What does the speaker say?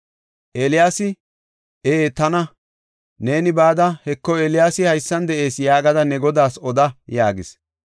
Eeliyaasi, “Ee tana; neeni bada, heko, Eeliyaasi haysan de7ees yaagada ne godaas oda” yaagis.